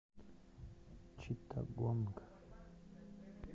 читтагонг